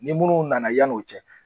Ni munnu nana yann'o cɛ